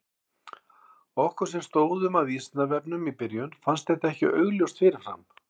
Okkur sem stóðum að Vísindavefnum í byrjun fannst þetta ekki augljóst fyrir fram.